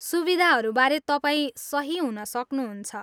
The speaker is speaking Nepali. सुविधाहरूबारे तपाईँ सही हुन सक्नुहुन्छ।